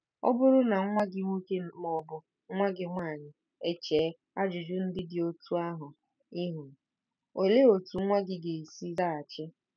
Ọ bụrụ na nwa gị nwoke ma ọ bụ nwa gị nwaanyị echee ajụjụ ndị dị otú ahụ ihu, olee otú nwa gị ga-esi zaghachi?